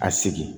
A sigi